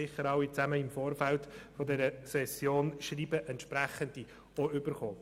Sie haben sicher alle im Vorfeld dieser Session auch entsprechende Schreiben erhalten.